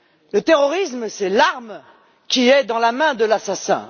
Le terrorisme, c'est l'arme qui est dans la main de l'assassin.